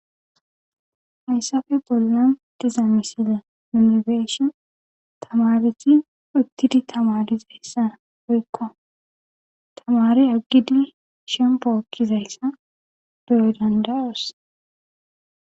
Hayssafe bolla dizamisize minibeeshon tamareti ottidi tamarizayssa hoykko tamare aggidi shempo okkizayssa deyo dandaroos.